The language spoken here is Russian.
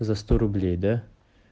за сто рублей да